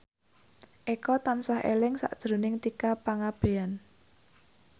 Eko tansah eling sakjroning Tika Pangabean